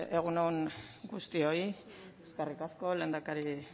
egun on guztioi eskerrik asko lehendakari